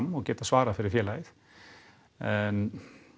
og geta svarað fyrir félagið en